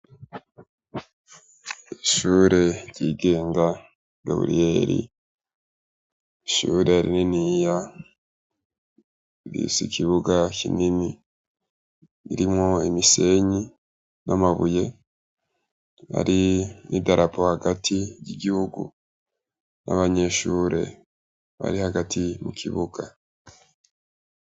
Ishure ryigenga gaburiyeli ishure ari niniya igisi ikibuga kinini mirimwo imisenyi n'amabuye ari n'i darabo hagati ry'igihugu nnaa banyeshure ari hagati mu kibuga.